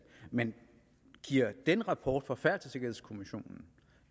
men giver den rapport fra færdselssikkerhedskommissionen